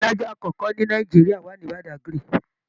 Ilé alájà akọkọ ní Nàìjíríà wa ni Badagry.